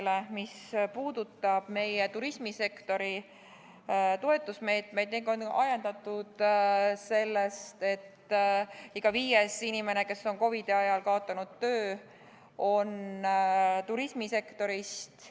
Arupärimine puudutab turismisektori toetusmeetmeid ning on ajendatud sellest, et iga viies inimene, kes on COVID-i kriisi ajal kaotanud töö, on turismisektorist.